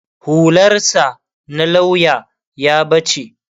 hular sa na lauya ya bace